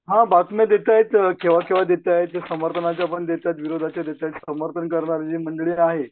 हां बातम्या देतायेत केंव्हा केंव्हा देतायेत. समर्थनाचा पण देतायेत विरोधाच्या पण देतायेत समर्थन करणारी जी मंडळी आहे.